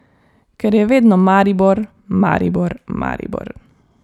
Ker je vedno Maribor, Maribor, Maribor ...